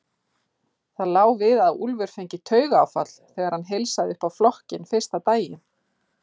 Það lá við að Úlfur fengi taugaáfall þegar hann heilsaði upp á flokkinn fyrsta daginn.